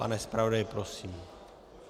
Pane zpravodaji, prosím.